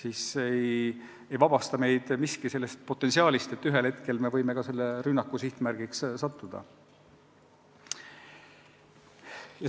siis ei vabasta meid miski sellest ohust, et ühel hetkel me võime ka selle rünnaku sihtmärgiks sattuda.